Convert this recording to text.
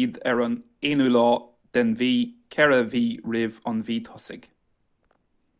iad ar an 1ú lá den mhí ceithre mhí roimh an mhí thosaigh